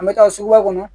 An bɛ taa suguba kɔnɔ